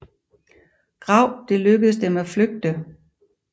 Graup det lykkes dem at flygte